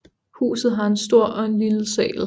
Huset har en stor og en lille sal